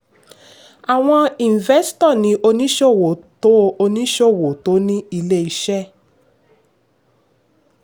àwọn investo ni oníṣòwò tó oníṣòwò tó ní ilé-iṣẹ́.